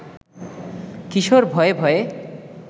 কিশোর ভয়ে ভয়ে